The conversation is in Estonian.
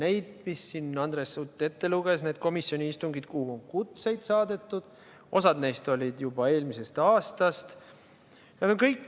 Need, mis Andres Sutt siin ette luges, need komisjoni istungid, kuhu on kutsed saadetud, osa neist oli juba eelmisest aastast.